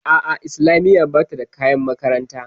A'a islamiya bata da kayan makaranta